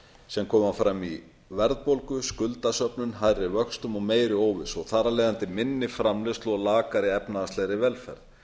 sem koma fram í verðbólgu skuldasöfnun hærri vöxtum og meiri óvissu og þar af leiðandi minni framleiðslu og lakari efnahagslegri velferð